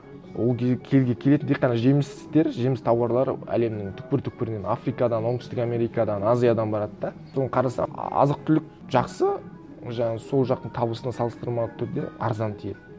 ол келетін тек қана жемістер жеміс тауарлары әлемнің түпкір түпкірінен африкадан оңтүстік америкадан азиядан барады да соны қарасақ азық түлік жақсы ол жағын сол жақтың табысына салыстырмалы түрде арзан тиеді